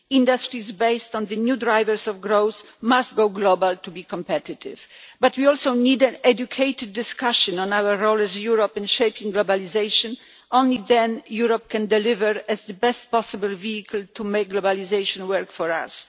Industries based on the new drivers of growth must go global to be competitive, but we also need an educated discussion on our role as Europe in shaping globalisation. Only then can Europe deliver as the best possible vehicle to make globalisation work for us.